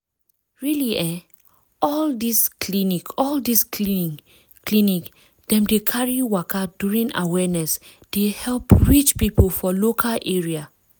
really eh all this clinic all this clinic dem dey carry waka during awareness dey help reach people for local area.